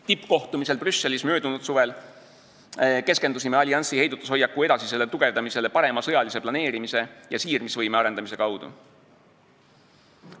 Tippkohtumisel Brüsselis möödunud suvel keskendusime alliansi heidutushoiaku edasisele tugevdamisele parema sõjalise planeerimise ja siirmisvõime arendamise kaudu.